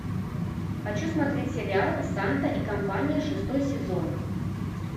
хочу смотреть сериал санта и компания шестой сезон